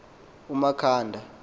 umakhanda